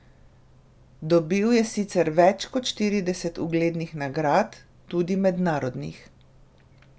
Dobil je sicer več kot štirideset uglednih nagrad, tudi mednarodnih.